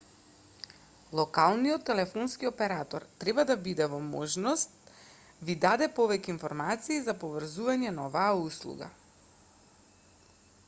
локалниот телефонски оператор треба да биде во можност ви даде повеќе информации за поврзувањето на оваа услуга